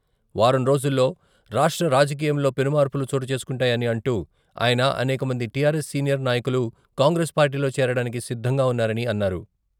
వారం రోజుల్లో రాష్ట్ర రాజకీయంలో పెనుమార్పులు చోటు చేసుకుంటాయని అంటూ ఆయన అనేకమంది టిఆర్ఎస్ సీనియర్ నాయకులు కాంగ్రెస్ పార్టీలో చేరడానికి సిద్ధంగా ఉన్నారని అన్నారు.